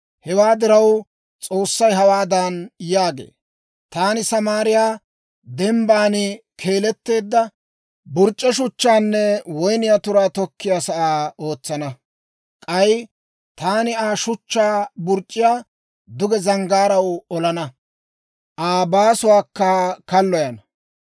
Hewaa diraw, S'oossay hawaadan yaagee; «Taani Samaariyaa, dembban keeleteedda burc'c'e shuchchaanne woyniyaa turaa tokkiyaa sa'aa ootsana. K'ay taani Aa shuchchaa burc'c'iyaa duge zanggaaraw olana; Aa baasuwaakka kalloyana.